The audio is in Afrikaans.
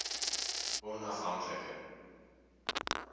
onaf hank like